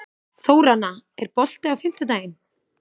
Þóranna, er bolti á fimmtudaginn?